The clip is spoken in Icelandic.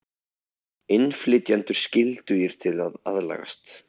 Innflytjendur skyldugir til að aðlagast